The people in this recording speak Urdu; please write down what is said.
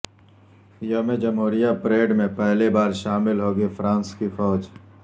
یوم جمہوریہ پریڈ میں پہلی بار شامل ہوگی فرانس کی فوج